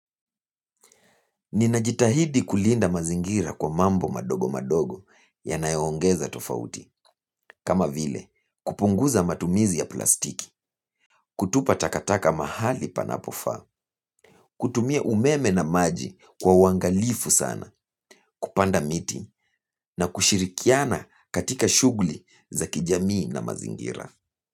Ninajitahidi kulinda mazingira kwa mambo madogo madogo yanayoongeza tofauti. Kama vile kupunguza matumizi ya plastiki, kutupa takataka mahali panapofaa, kutumia umeme na maji kwa uwangalifu sana, kupanda miti na kushirikiana katika shughuli za kijamii na mazingira.